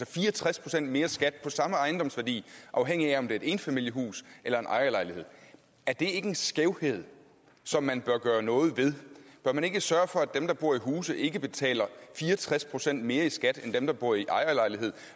fire og tres procent mere skat af samme ejendomsværdi afhængigt af om det er et enfamiliehus eller en ejerlejlighed er det ikke en skævhed som man bør gøre noget ved bør man ikke sørge for at dem der bor i huse ikke betaler fire og tres procent mere i skat end dem der bor i ejerlejlighed